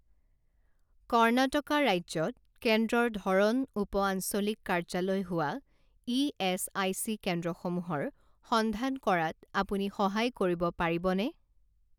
কৰ্ণাটকা ৰাজ্যত কেন্দ্ৰৰ ধৰণ উপ আঞ্চলিক কাৰ্যালয় হোৱা ইএচআইচি কেন্দ্ৰসমূহৰ সন্ধান কৰাত আপুনি সহায় কৰিব পাৰিবনে?